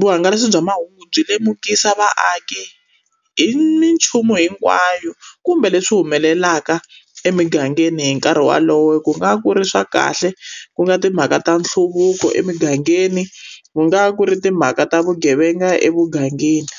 vuhangalasi bya mahungu byi lemukisa vaaki hi minchumu hinkwayo kumbe leswi humelelaka emigangeni hi nkarhi wolowo, ku nga ku ri swa kahle ku nga timhaka ta nhluvuko emugangeni, ku nga ku ri timhaka ta vugevenga emugangeni.